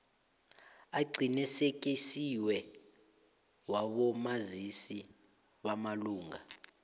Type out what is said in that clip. aqinisekisiweko wabomazisi bamalunga